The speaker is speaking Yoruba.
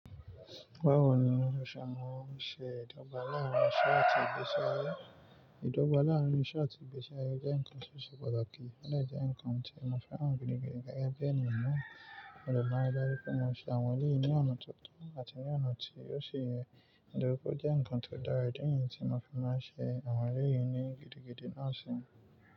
Báwo ni o ṣe maa ṣe ìdọ́gba láàárín iṣẹ́ àti ìgbésí ayé? Ìdọ́gba láàárín iṣẹ́ àti ìgbésí ayé jẹ́ ǹkan tó ṣe pàtàkì, ó lè jẹ́ ǹkan tí mo fẹ́ràn gidi gan. Gẹ́gẹ́ bí ènìyàn mìíràn, mo de ri daju pé mo ṣe àwọn elèyí ní ọ̀nà tó tọ́ àti ní ọ̀nà tí osi yẹ. Ìdọ́rúkọ jẹ́ ǹkan tó dára, idi niyi tí mo fi máa ń ṣe àwọn elèyí ní gidigidi náà sì.